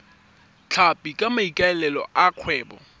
tlhapi ka maikaelelo a kgwebo